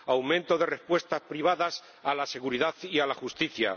aumento de respuestas privadas a la seguridad y a la justicia